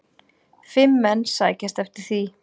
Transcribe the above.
Fimm menn sækjast eftir því.